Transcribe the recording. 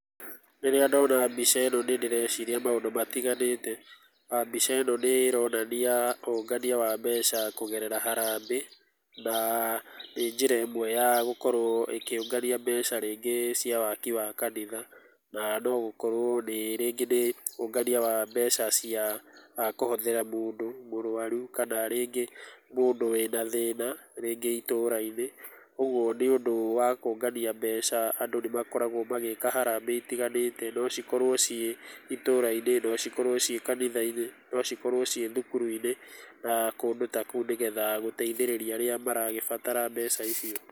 Rĩrĩa ndona mbica ĩno nĩ ndĩreciria maũndũ matiganĩte. Mbica ĩno nĩ ĩronania ũngania wa mbeca kũgerera harambĩ na nĩ njĩra ĩmwe ya gũkorwo ĩkĩũngania mbeca rĩngĩ cia waki wa kanitha na no gũkorwo nĩ rĩngĩ nĩ ũngania wa mbeca cia kũhothera rĩngĩ mũndũ mũrwaru kana rĩngĩ mũndũ wĩna thĩna rĩngĩ itũra-inĩ. Ũguo nĩ ũndũ wa kũngania mbeca andũ nĩmakoragwo magĩĩka harambĩ itiganĩte. No cikorwo ciĩ itũra-inĩ, no cikorwo ciĩ kanitha-inĩ, no cikorwo ciĩ thukuru-inĩ na kũndũ ta kũu nĩgetha gũteithĩrĩria arĩa maragĩbatara mbeca icio.